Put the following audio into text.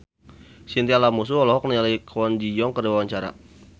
Chintya Lamusu olohok ningali Kwon Ji Yong keur diwawancara